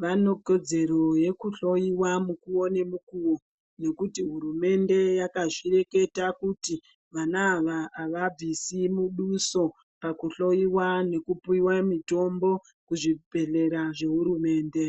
vanekodzero yekuhlova mukuvo nemukuvo. Nekuti hurumende yakazvireketa kuti vana ava havabvisi muduso pakuhloiwa nekupiva mitombo, kuzvibhedhlera zvehurumende.